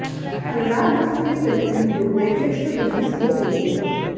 अनुराग बसु की film Ludo Netflix पर release हो गई है